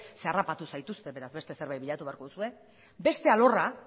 zeren eta harrapatu zaituzte beraz beste zerbait bilatu beharko duzue